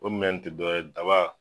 O minɛn nunnu ti dɔwɛrɛ ye daba